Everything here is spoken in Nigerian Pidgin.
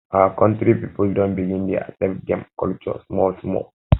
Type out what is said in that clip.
our country people don begin dey accept them culture small small